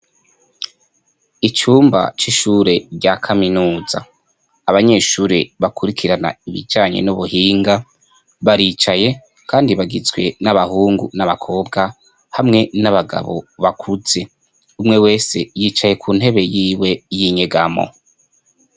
Icumba c'ishure rya kaminuza abanyeshure bakurikirana ibicanye n'ubuhinga baricaye, kandi bagizwe n'abahungu n'abakobwa hamwe n'abagabo bakuze umwe wese yicaye ku ntebe yiwe y'inyegamo.